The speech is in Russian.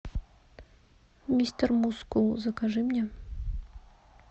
мистер мускул закажи мне